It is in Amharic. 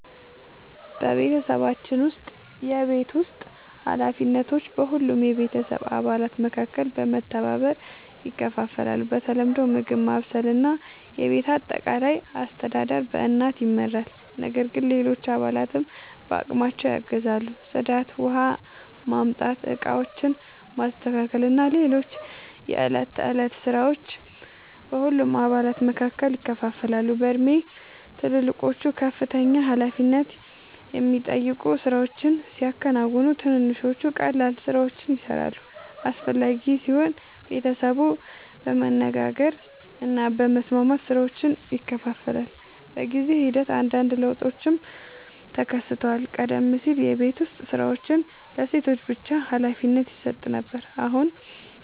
በቤተሰባችን ውስጥ የቤት ውስጥ ኃላፊነቶች በሁሉም የቤተሰብ አባላት መካከል በመተባበር ይከፋፈላሉ። በተለምዶ ምግብ ማብሰል እና የቤት አጠቃላይ አስተዳደር በእናት ይመራል፣ ነገር ግን ሌሎች አባላትም በአቅማቸው ያግዛሉ። ጽዳት፣ ውኃ ማምጣት፣ ዕቃዎችን ማስተካከል እና ሌሎች የዕለት ተዕለት ሥራዎች በሁሉም አባላት መካከል ይከፋፈላሉ። በእድሜ ትልልቆቹ ከፍተኛ ኃላፊነት የሚጠይቁ ሥራዎችን ሲያከናውኑ፣ ትንንሾቹ ቀላል ሥራዎችን ይሠራሉ። አስፈላጊ ሲሆን ቤተሰቡ በመነጋገር እና በመስማማት ሥራዎችን ይከፋፍላል። በጊዜ ሂደት አንዳንድ ለውጦችም ተከስተዋል። ቀደም ሲል የቤት ዉስጥ ሥራዎች ለሴቶች ብቻ ሀላፊነት ይሰጥ ነበር፣ አሁን